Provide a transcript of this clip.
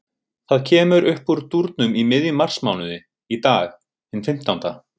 Það kemur uppúr dúrnum í miðjum marsmánuði, í dag, hinn fimmtánda.